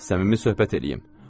Səmimi söhbət eləyim.